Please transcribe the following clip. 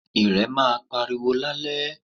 Ìrẹ̀ maa pariwo lálẹ́